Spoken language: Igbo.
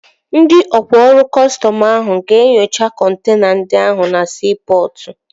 Ndị ọkwá ọrụ kọstọm ahụ ga-enyocha kọntena ndị ahụ na siipọtụ